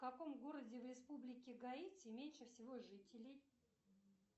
в каком городе в республике гаити меньше всего жителей